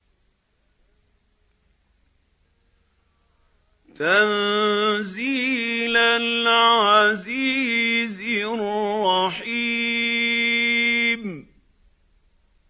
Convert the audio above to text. تَنزِيلَ الْعَزِيزِ الرَّحِيمِ